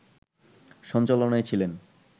সঞ্চালনায় ছিলেন